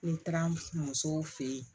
N taara musow fɛ yen